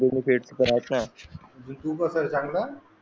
म्हणजे तू कास आहे चांगला